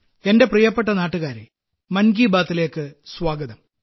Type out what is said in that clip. എന്റെ പ്രിയപ്പെട്ട നാട്ടുകാരേ മൻ കി ബാത്തിലേക്ക് സ്വാഗതം